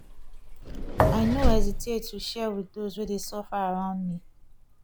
i no hesitate to share with those wey dey suffer around me